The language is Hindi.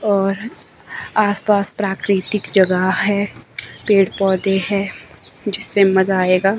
और आसपास प्राकृतिक जगह है पेड़ पौधे हैं जिससे मजा आएगा।